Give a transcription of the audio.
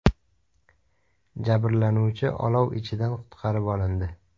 Jabrlanuvchi olov ichidan qutqarib olindi.